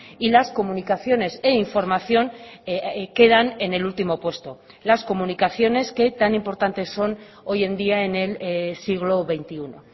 y las comunicaciones e información quedan en el último puesto las comunicaciones que tan importantes son hoy en día en el siglo veintiuno